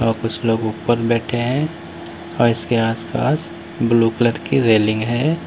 और कुछ लोग ऊपर बैठे हैं और इसके आसपास ब्लू कलर की रेलिंग है।